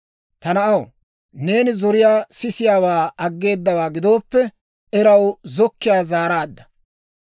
Ta na'aw, neeni zoriyaa sisiyaawaa aggeedawaa gidooppe, eraw zokkiyaa zaaraadda.